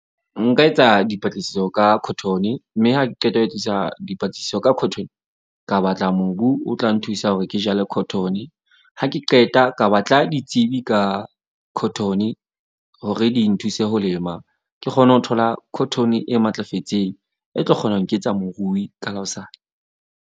Nka etsa dipatlisiso ka cotton-e. Mme ha ke qeta ho etsisa dipatlisiso ka cotton. Ka batla mobu, o tla nthusa hore ke jale cotton-e. Ha ke qeta ka batla ditsebi ka cotton-e hore di nthuse ho lema. Ke kgone ho thola cotton-e e matlafetseng. E tlo kgona ho nketsa morui ka la hosane.